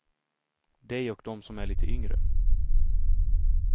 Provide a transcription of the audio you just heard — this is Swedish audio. Dig och de som är lite yngre.